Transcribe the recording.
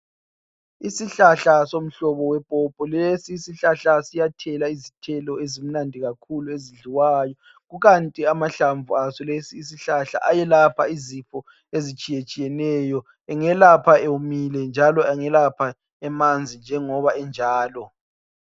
Isihlahla somhlobo wepopo lesi isihlahla siyathela izithelo ezimnandi kakhulu ezidliwayo. kukanti amahlamvu aso lesi isihlahla ayelapha izifo ezitshiyetshiyeneyo. Engelapha ewomile njalo angelapha emanzi njengoba enjalo.